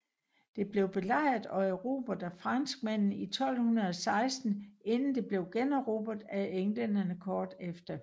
Det blev belejret og erobret af franskmændene i 1216 inden det blev generobret af englænderne kort efter